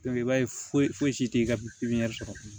i b'a ye foyi foyi si tɛ ka pipiniyɛri sɔrɔ